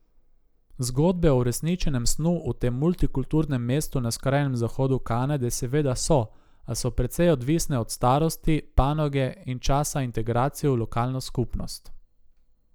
Zgodbe o uresničenem snu v tem multikulturnem mestu na skrajnem zahodu Kanade seveda so, a so precej odvisne od starosti, panoge in časa integracije v lokalno skupnost.